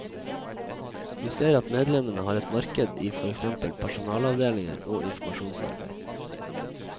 Vi ser at medlemmene har et marked i for eksempel personalavdelinger og informasjonsarbeid.